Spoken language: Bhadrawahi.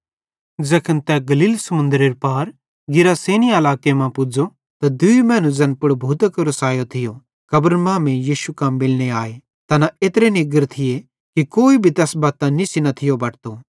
ज़ैखन तै गलील समुन्दरेरे पार गिरासेनी इलाके मां पुज़ो त दूई मैनू ज़ैन पुड़ भूतां केरो सैयो थियो कब्रन मांमेइं यीशु कां मिलने आए तैना एत्रे निग्गर थिये कि कोई भी तैस बत्तां निस्सी न थियो बटतो